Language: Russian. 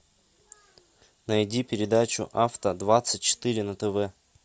найди передачу авто двадцать четыре на тв